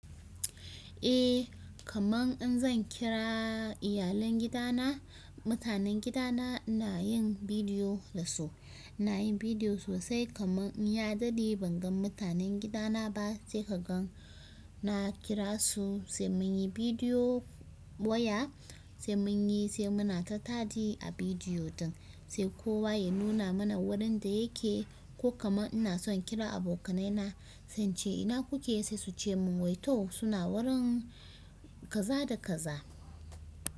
Eh kaman in zan kira iyalin gida na, mutanen gida na ina yin bidiyo da su, na yin bidiyo su sai kaman in ya dade ban gan mutanen gida na ba sai ka gan na kira su sai mun yi bidiyo waya sai mun yi sai muna ta dadi a bidiyo din sai kowa ya nuna mana wurin da yake. Ko kaman ina son kira abokanai na sance ina kuke sai su ce mun wai toh suna wurin kaza da kaza.